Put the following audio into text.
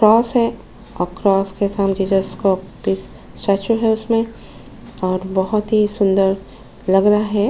Cross है और cross के साथ हम जीसस और बहुत ही सुंदर लग रहा है।